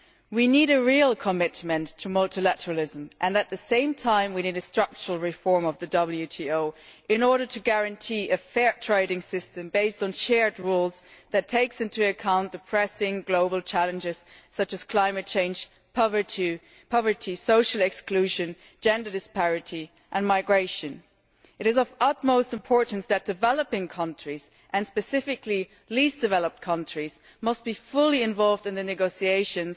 We need a real commitment to multilateralism and, at the same time, we need a structural reform of the WTO in order to guarantee a fair trading system, based on shared rules, that takes into account the pressing global challenges such as climate change, poverty, social exclusion, gender disparity and migration. It is of the utmost importance that developing countries, and specifically the least developed countries should be fully involved in the negotiations